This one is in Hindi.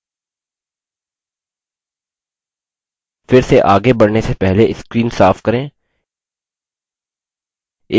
फिर से again बढ़ने से पहले screen साफ करें